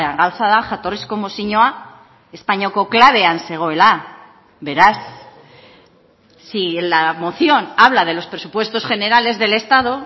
gauza da jatorrizko mozioa espainiako klabean zegoela beraz si en la moción habla de los presupuestos generales del estado